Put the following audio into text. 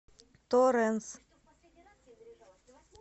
торенс